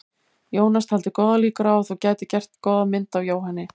Jónas taldi góðar líkur á að þú gætir gert góða mynd af Jóhanni.